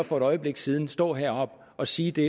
for et øjeblik siden stå heroppe og sige det